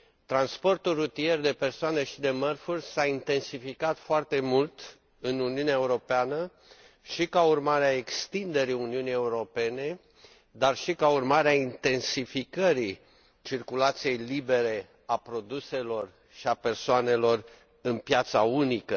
Transportul rutier de persoane și de mărfuri s a intensificat foarte mult în Uniunea Europeană și ca urmare a extinderii Uniunii Europene, dar și ca urmare a intensificării circulației libere a produselor și a persoanelor în piața unică.